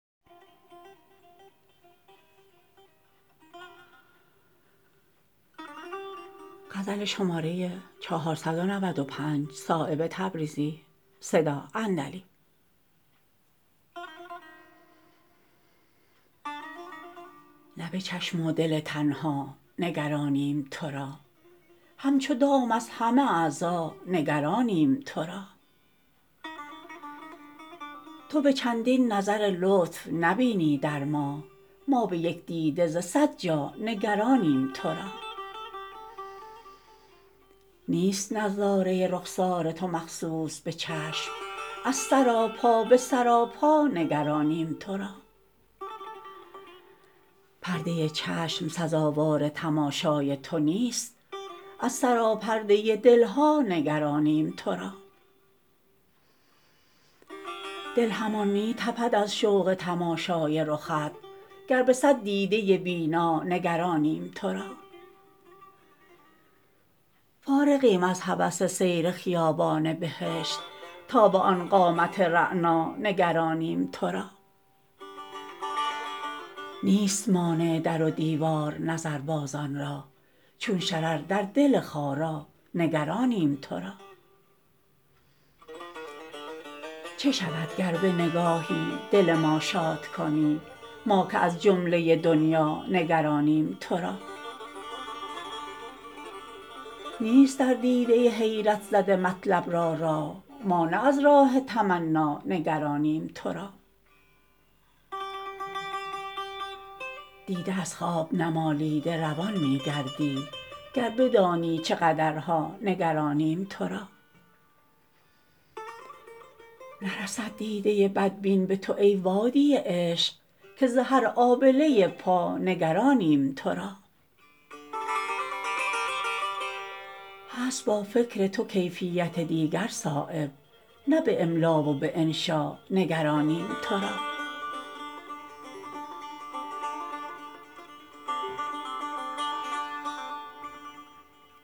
نه به چشم و دل تنها نگرانیم ترا همچو دام از همه اعضا نگرانیم ترا تو به چندین نظر لطف نبینی در ما ما به یک دیده ز صد جا نگرانیم ترا نیست نظاره رخسار تو مخصوص به چشم از سراپا به سراپا نگرانیم ترا پرده چشم سزاوار تماشای تو نیست از سراپرده دلها نگرانیم ترا دل همان می تپد از شوق تماشای رخت گر به صد دیده بینا نگرانیم ترا فارغیم از هوس سیر خیابان بهشت تا به آن قامت رعنا نگرانیم ترا نیست مانع در و دیوار نظربازان را چون شرر در دل خارا نگرانیم ترا چه شود گر به نگاهی دل ما شاد کنی ما که از جمله دنیا نگرانیم ترا نیست در دیده حیرت زده مطلب را راه ما نه از راه تمنا نگرانیم ترا دیده از خواب نمالیده روان می گردی گر بدانی چه قدرها نگرانیم ترا نرسد دیده بدبین به تو ای وادی عشق که ز هر آبله پا نگرانیم ترا هست با فکر تو کیفیت دیگر صایب نه به املا و به انشا نگرانیم ترا